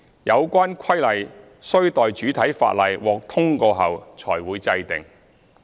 有關規例須待主體法例獲通過後才會制定。